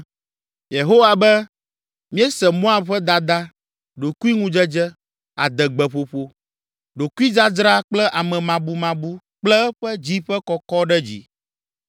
Yehowa be, “Míese Moab ƒe dada, ɖokuiŋudzedze, adegbeƒoƒo, ɖokuidzadzra kple amemabumabu kple eƒe dzi ƒe kɔkɔ ɖe dzi.